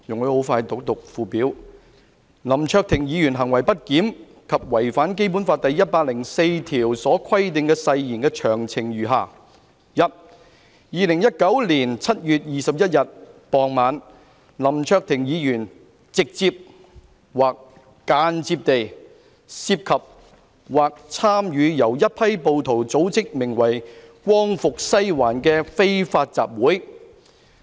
"林卓廷議員行為不檢及違反《基本法》第一百零四條所規定的誓言的詳情如下： 1. 2019年7月21日傍晚，林卓廷議員直接或間接地涉及或參與由一批暴徒組織的名為'光復西環'的非法集會。